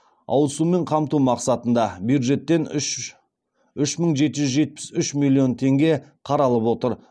ауыз сумен қамту мақсатында бюджеттен үш мың жеті жүз жетпіс үш миллион теңге қаралып отыр